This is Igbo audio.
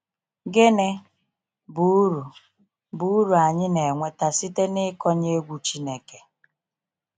Gịnị bụ uru bụ uru anyị na enweta site n’ịkọnye egwu Chineke?